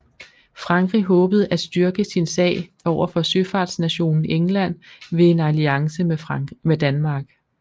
Frankrig håbede at styrke sin sag overfor søfartsnationen England ved en alliance med Danmark